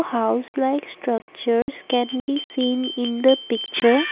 house like structures can be seen in the picture.